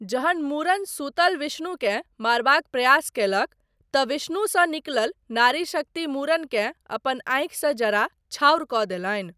जहन मुरन सुतल विष्णुकेँ मारबाक प्रयास कयलक, तँ विष्णुसँ निकलल नारी शक्ति मुरनकेँ अपन आँखिसँ जरा छाउर कऽ देलनि।